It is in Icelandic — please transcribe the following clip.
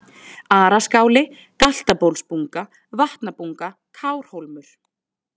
Araskáli, Galtabólsbunga, Vatnabunga, Kárhólmur